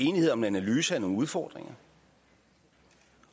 enighed om en analyse af nogle udfordringer